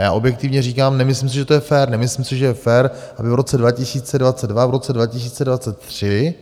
A já objektivně říkám, nemyslím si, že to je fér, nemyslím si, že je fér, aby v roce 2022, v roce 2023